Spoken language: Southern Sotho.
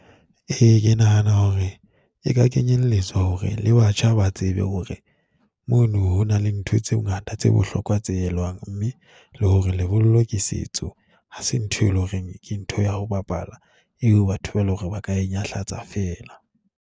Ee, ke nahana hore e ka kenyelletswa hore le batjha ba tsebe hore mono ho na le ntho tse ngata tse bohlokwa tse elwang, mme le hore lebollo ke setso, ha se ntho e leng hore ke ntho ya ho bapala. Eo batho ba le hore ba ka e nyahlatsa fela.